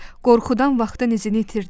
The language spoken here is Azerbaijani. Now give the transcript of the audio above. Qorxudan vaxtın izini itirdi.